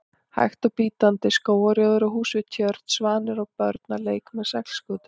hægt og bítandi: skógarrjóður og hús við tjörn, svanir og börn að leik með seglskútu.